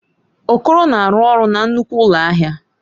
Okoro na-arụ ọrụ na nnukwu ụlọ ahịa.